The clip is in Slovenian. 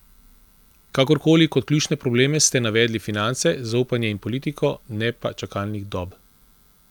Kakorkoli, kot ključne probleme ste navedli finance, zaupanje in politiko, ne pa čakalnih dob.